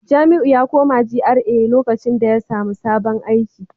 Jamiu ya koma GRA lokacin da ya samu sabon aiki